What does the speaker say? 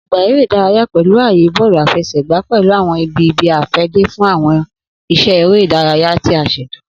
Ogba ere idaraya pẹlu aaye bọọlu afẹsẹgba pẹlu awọn ibi ibi-afẹde fun awọn iṣẹ ere idaraya ti a ṣeto.